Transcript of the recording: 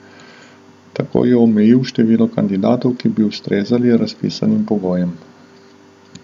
Tako je omejil število kandidatov, ki bi ustrezali razpisnim pogojem.